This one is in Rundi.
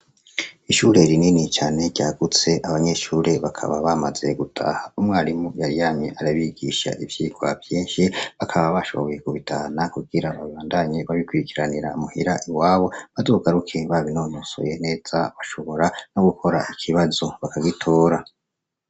Ishure rinini cane ryagutse, abanyeshure bakaba bamaze gutaha. Umwarimu yari yamye arabigisha ivyigwa vyinshi, bakaba bashoboye kubitahana kugira babandanye babikurikiranira muhira iwabo, bazogaruke babinonosoye neza, bashobora no gukora ikibazo bakagitora.